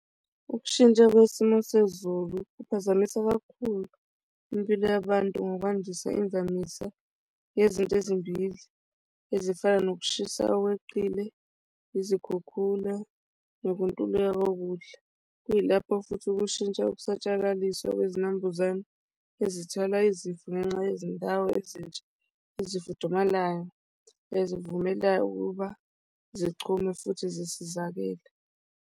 Ukushintsha kwesimo sezulu kuphazamisa kakhulu impilo yabantu ngokwandisa imvamisa yezinto ezimbili ezifana nokushisa okweqile, izikhukhula nokuntuleka kokudla. Kuyilapho futhi ukushintsha ukusatshalaliswa kwezinambuzane ezithola izifo ngenxa yezindawo ezintsha ezifudumalayo nezivumela ukuba zichume futhi zisizakele.